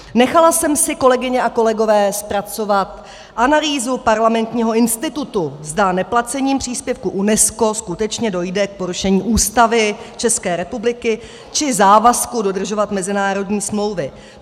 Nechala jsem si, kolegyně a kolegové, zpracovat analýzu Parlamentního institutu, zda neplacením příspěvku UNESCO skutečně dojde k porušení Ústavy České republiky či závazku dodržovat mezinárodní smlouvy.